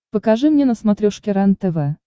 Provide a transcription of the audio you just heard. покажи мне на смотрешке рентв